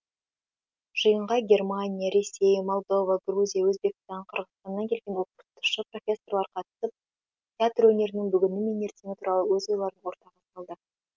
жиынға германия ресей молдова грузия өзбекстан қырғызстаннан келген оқытушы профессорлар қатысып театр өнерінің бүгіні мен ертеңі туралы өз ойларын ортаға салды